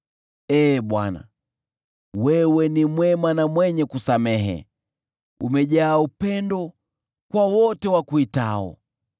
Ee Bwana , wewe ni mwema na mwenye kusamehe, umejaa upendo kwa wote wakuitao.